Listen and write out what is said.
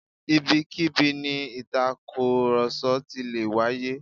Ibikíbi ni ìtàkùrọ̀sọ ti lè wáyé